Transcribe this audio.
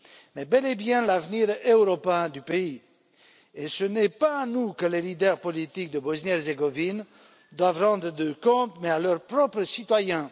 mais bel et bien l'avenir européen du pays. Et ce n'est pas à nous que les leaders politiques de Bosnie Herzégovine doivent rendre des comptes, mais à leurs propres citoyens.